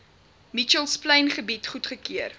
mitchells plaingebied goedgekeur